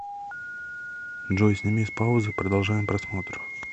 джой сними с паузы продолжаем просмотр